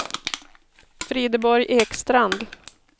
Frideborg Ekstrand